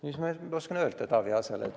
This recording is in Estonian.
Mis ma oskan Taavi Aasale öelda?